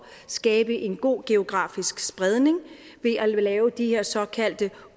skabe en god geografisk spredning ved at lave de her såkaldte